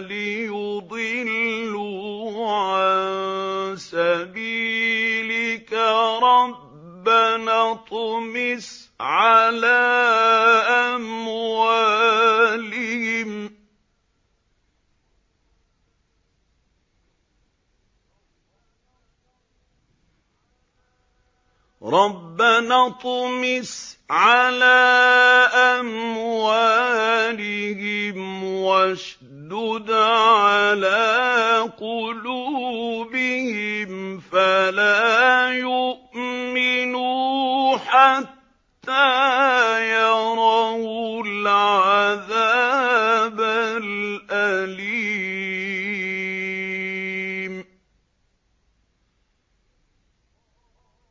لِيُضِلُّوا عَن سَبِيلِكَ ۖ رَبَّنَا اطْمِسْ عَلَىٰ أَمْوَالِهِمْ وَاشْدُدْ عَلَىٰ قُلُوبِهِمْ فَلَا يُؤْمِنُوا حَتَّىٰ يَرَوُا الْعَذَابَ الْأَلِيمَ